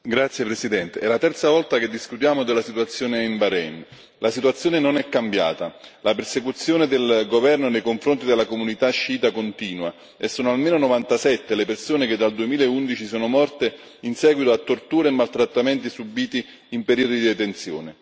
Signora Presidente, onorevoli colleghi, è la terza volta che discutiamo della situazione in Bahrain. La situazione non è cambiata, la persecuzione del governo nei confronti della comunità sciita continua e sono almeno 97 le persone che dal 2011 sono morte in seguito a torture e maltrattamenti subiti in periodi di detenzione.